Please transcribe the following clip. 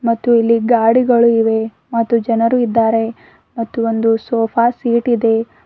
ಮತ್ತು ಇಲ್ಲಿ ಗಾಡಿಗಳು ಇವೆ ಮತ್ತು ಜನರು ಇದ್ದಾರೆ ಮತ್ತು ಒಂದು ಸೋಫಾ ಸೀಟ್ ಇದೆ.